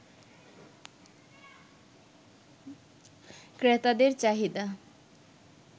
ক্রেতাদের চাহিদা